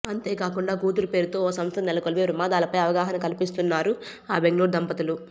అంతేకాకుండా కూతురు పేరుతో ఓ సంస్థను నెలకొల్పి ప్రమాదాలపై అవగాహన కల్పిస్తున్నారు ఆ బెంగళూరు దంపతులు